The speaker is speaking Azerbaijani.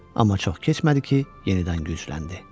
Amma çox keçmədi ki, yenidən gücləndi.